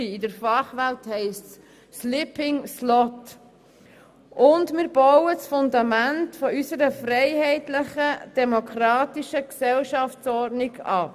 Zudem bauen wir damit das Fundament unserer freiheitlichen und demokratischen Gesellschaftsordnung ab.